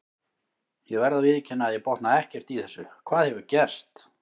Ég verð að viðurkenna að ég botna ekkert í þessu, hvað hefur gerst?